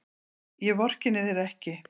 Ég vorkenni þér ekki.